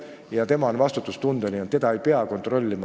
Ja tema ise on vastutustundeline, teda ei pea kontrollima.